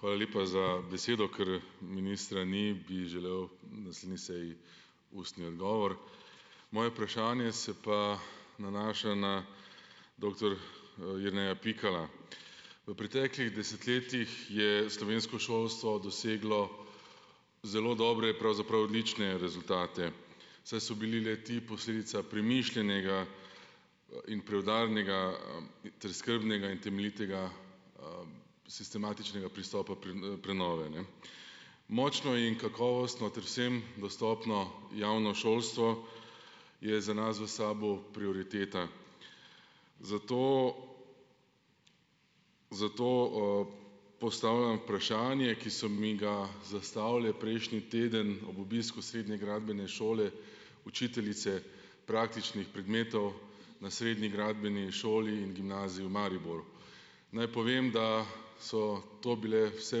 Hvala lepa za besedo, kar ministra ni, bi želel naslednji seji ustni odgovor. Moje vprašanje se pa nanaša na doktor Jerneja Pikala. V preteklih desetletjih je slovensko šolstvo doseglo zelo dobre, pravzaprav odlične rezultate, saj so bili le-ti posledica premišljenega in preudarnega, ter skrbnega in temeljitega sistematičnega pristopa prenove, ne. Močno in kakovostno ter vsem dostopno javno šolstvo je za nas v SAB-u prioriteta, zato zato, postavljam vprašanje, ki so mi ga zastavile prejšnji teden ob obisku srednje gradbene šole učiteljice praktičnih predmetov na Srednji gradbeni šoli in gimnaziji v Mariboru. Naj povem, da so to bile vse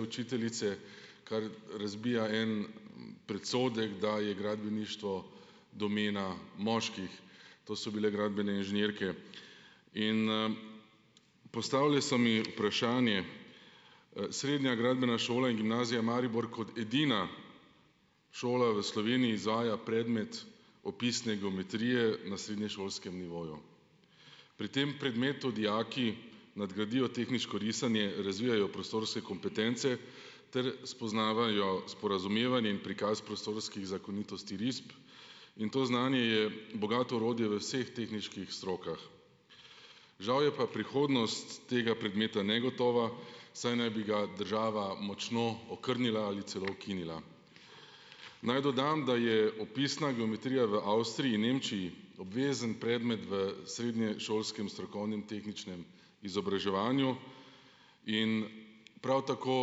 učiteljice, kar razbija en predsodek, da je gradbeništvo domena moških. To so bile gradbene inženirke. In, postavile so mi vprašanje, Srednja gradbena šola in gimnazija Maribor kot edina šola v Sloveniji izvaja predmet opisne geometrije na srednješolskem nivoju. Pri tem predmetu dijaki nadgradijo tehniško risanje, razvijajo prostorske kompetence ter spoznavajo sporazumevanje in prikaz prostorskih zakonitosti risb, in to znanje je bogato orodje v vseh tehniških strokah. Žal je pa prihodnost tega predmeta negotova, saj naj bi ga država močno okrnila ali celo ukinila. Naj dodam, da je opisna geometrija v Avstriji in Nemčiji obvezen predmet v srednješolskem strokovnem tehničnem izobraževanju in prav tako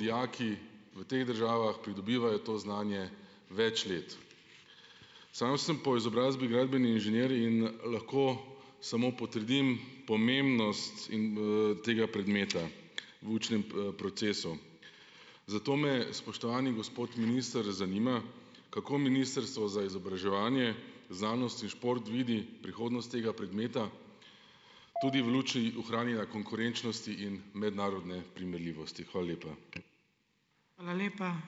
dijaki v teh državah pridobivajo to znanje več let. Sam sem po izobrazbi gradbeni inženir in lahko samo potrdim pomembnost in, tega predmeta v učnem, procesu. Zato me, spoštovani gospod minister, zanima, kako ministrstvo za izobraževanje, znanost in šport vidi prihodnost tega predmeta tudi v luči ohranjanja konkurenčnosti in mednarodne primerljivosti? Hvala lepa.